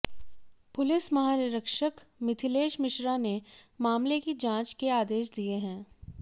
police महानिरीक्षक मिथिलेश मिश्रा ने मामले की जांच के आदेश दिए हैं